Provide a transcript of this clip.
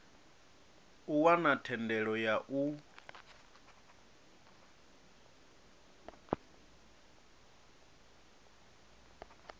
u wana thendelo ya u